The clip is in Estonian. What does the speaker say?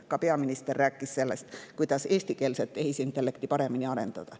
Ka peaminister rääkis sellest, kuidas eestikeelset tehisintellekti paremini arendada.